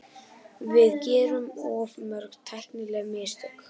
Við gerum of mörg tæknileg mistök.